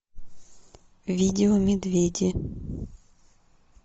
видео медведи